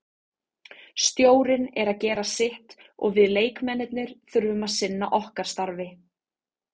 Stjórinn er að gera sitt og við leikmennirnir þurfum að sinna okkar starfi.